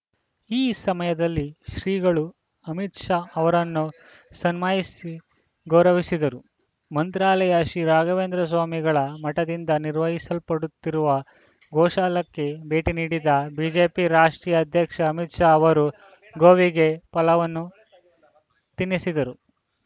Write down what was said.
ಈ ಸಮಯದಲ್ಲಿ ಶ್ರೀಗಳು ಅಮಿತ ಶಾ ಅವರನ್ನು ಸ್ನಮಾಹಿಸಿ ಗೌರವಿಸಿದರು ಮಂತ್ರಾಲಯ ಶ್ರೀರಾಘವೇಂದ್ರ ಸ್ವಾಮಿಗಳ ಮಠದಿಂದ ನಿರ್ವಹಿಸಲ್ಪಡುತ್ತಿರುವ ಗೋಶಾಲಕ್ಕೆ ಭೇಟಿ ನೀಡಿದ ಬಿಜೆಪಿ ರಾಷ್ಟ್ರೀಯ ಅಧ್ಯಕ್ಷ ಅಮಿತ್‌ ಶಾ ಅವರು ಗೋವಿಗೆ ಫಲವನ್ನು ತಿನ್ನಿಸಿದರು